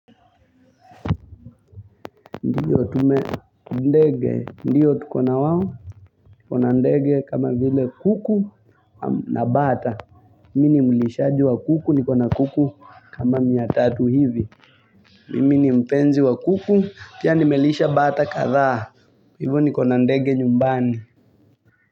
Ndiyo tume, ndege, ndio tukona wao, tuko na ndege kama vile kuku na bata. Mimi ni mulishaji wa kuku, niko na kuku kama mia tatu hivi. Mimi ni mpenzi wa kuku, pia nimelisha bata kadhaa, hivo nikona ndege nyumbani.